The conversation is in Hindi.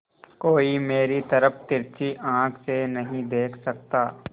कोई मेरी तरफ तिरछी आँख से नहीं देख सकता